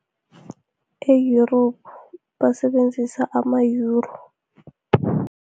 E-Europe, basebenzisa ama-Yuro.